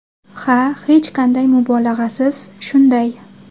Ha, hech qanday mubolag‘asiz shunday.